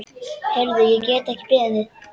Heyrðu, ég get ekki beðið.